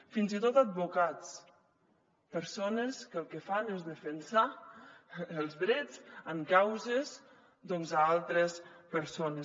fins i tot advocats persones que el que fan és defensar els drets en causes doncs d’altres persones